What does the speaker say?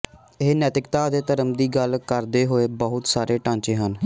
ਇਹ ਨੈਤਿਕਤਾ ਅਤੇ ਧਰਮ ਦੀ ਗੱਲ ਕਰਦੇ ਹੋਏ ਬਹੁਤ ਸਾਰੇ ਢਾਂਚੇ ਹਨ